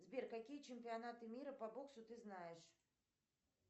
сбер какие чемпионаты мира по боксу ты знаешь